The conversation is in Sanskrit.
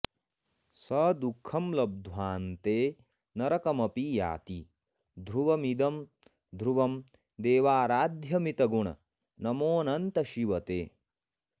स दुःखं लब्ध्वाऽन्ते नरकमपि याति ध्रुवमिदं ध्रुवं देवाराध्यामितगुण नमोऽनन्त शिव ते